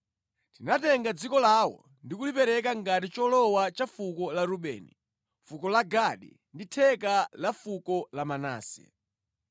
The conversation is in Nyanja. Tinatenga dziko lawo ndi kulipereka ngati cholowa cha fuko la Rubeni, fuko la Gadi ndi theka la fuko la Manase.